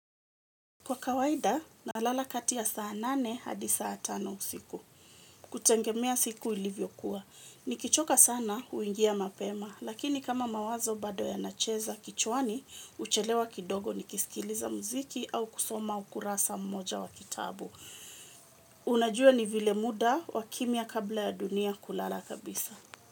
Kwa kawaida, nalala kati ya saa nane hadi saa tano usiku. Kutengemea siku ilivyokuwa. Nikichoka sana huingia mapema, lakini kama mawazo bado yanacheza kichwani, uchelewa kidogo nikisikiliza mziki au kusoma ukurasa mmoja wa kitabu. Unajua ni vile muda wa kimya kabla ya dunia kulala kabisa.